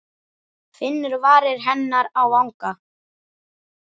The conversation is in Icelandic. Finnur varir hennar á vanga.